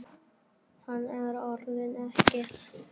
Hann er orðinn ekkill.